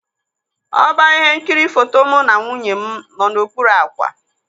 Ọba ihe nkiri foto mụ na nwunye m nọ n'okpuru ákwà.